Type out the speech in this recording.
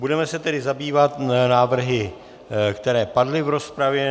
Budeme se tedy zabývat návrhy, které padly v rozpravě.